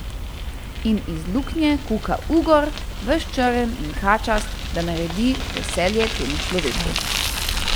In iz luknje kuka ugor, ves črn in kačast, da naredi veselje temu človečku.